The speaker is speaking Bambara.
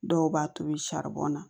Dɔw b'a tobi na